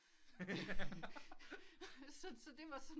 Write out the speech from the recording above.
Så det var sådan